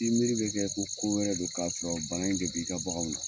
I miiriri bɛ kɛ ko ko wɛrɛ don, k'a sɔrɔ bana in de b'i ka bangaw na.